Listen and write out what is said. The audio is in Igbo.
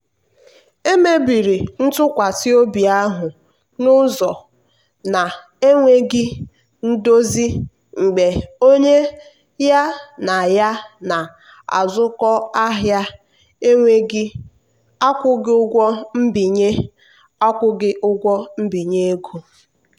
emebiri ntụkwasị obi ahụ n'ụzọ na-enweghị ndozi mgbe onye ya na ya na-azụkọ ahịa ekweghị akwụghị ụgwọ mbinye akwụghị ụgwọ mbinye ego.